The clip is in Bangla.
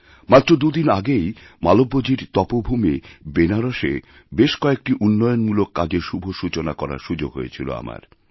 মাত্র দুদিন আগেই মালব্যজীর তপভূমি বেনারসে বেশ কয়েকটিউন্নয়নমূলক কাজের শুভ সূচনা করার সুযোগ হয়েছিল আমার